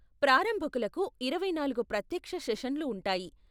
ప్రారంభకులకు ఇరవై నాలుగు ప్రత్యక్ష సెషన్లు ఉంటాయి.